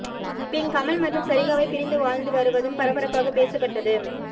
பின் கமல் மற்றும் சரிகாவை பிரிந்து வாழ்ந்து வருவதும் பரபரப்பாக பேசப்பட்டது